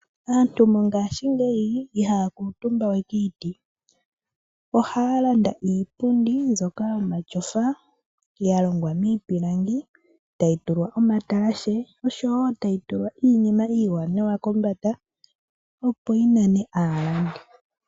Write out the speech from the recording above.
Aantu mo ngaa shingeyi ihaya kuutumba we kiiti. ohaya landa iipundi mbyoka yoma tyofa yalongwa miipilangi tayi tulwa omatalashe osho tayi tulwa iinima iiwaanawa kombanda opo yi mone aalandi.